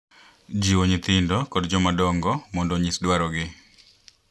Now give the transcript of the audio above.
Jiwo nyithindo kod jomadongo mondo onyis dwarogi,